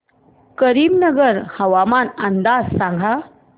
करीमनगर हवामान अंदाज सांग